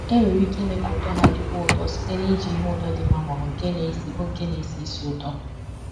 Enwere ike ime ka ụtọ ha dịkwuo ụtọ site n’iji ihe ụtọ dị mma ma ọ bụ nke na-esi bụ nke na-esi ísì ụtọ.